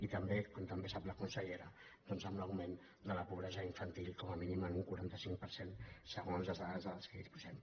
i també com també sap la consellera doncs amb l’augment de la pobresa infantil com a mínim en un quaranta cinc per cent se·gons les dades de què disposem